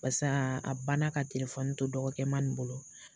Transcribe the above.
Paseke a banna ka telefɔni to dɔgɔkɛma nin bolo.